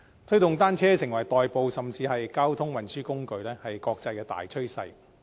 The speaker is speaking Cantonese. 推動使用單車代步，甚至是交通運輸工具，是國際大趨勢。